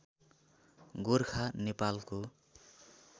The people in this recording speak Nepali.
गोरखा नेपालको